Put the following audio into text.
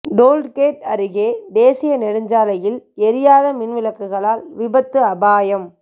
tollgate அருகே தேசிய நெடுஞ்சாலையில் எரியாத மின் விளக்குகளால் விபத்து அபாயம்